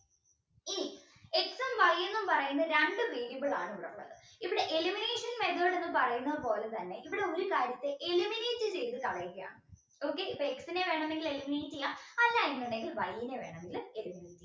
എന്ന് പറയുന്ന രണ്ട് variable ആണുള്ളത് ഇവിടെ elimination method എന്ന് പറയുന്നതുപോലെ തന്നെ ഇവിടെ ഒരു കാര്യത്തെ eliminate ചെയ്തു കളയുകയാണ് okay അപ്പോ X നെ വേണമെങ്കിൽ eliminate ചെയ്യാം അല്ല എന്നുണ്ടെങ്കിൽ Y നെ വേണമെങ്കിൽ eliminate ചെയ്യാം